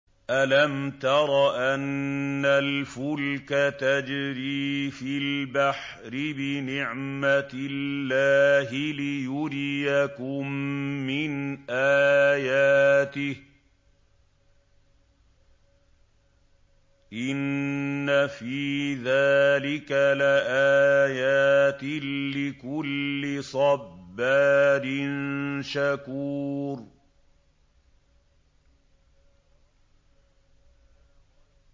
أَلَمْ تَرَ أَنَّ الْفُلْكَ تَجْرِي فِي الْبَحْرِ بِنِعْمَتِ اللَّهِ لِيُرِيَكُم مِّنْ آيَاتِهِ ۚ إِنَّ فِي ذَٰلِكَ لَآيَاتٍ لِّكُلِّ صَبَّارٍ شَكُورٍ